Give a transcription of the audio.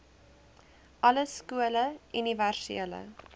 alle skole universele